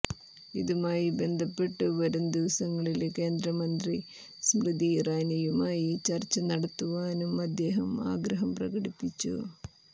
ഇതുമായി ബന്ധപ്പെട്ട് വരും ദിവസങ്ങളില് കേന്ദ്രമന്ത്രി സ്മൃതി ഇറാനിയുമായി ചര്ച്ച നടത്തുവാനും അദ്ദേഹം ആഗ്രഹം പ്രകടിപ്പിച്ചു